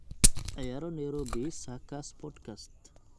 ciyaaro nairobi circus podcast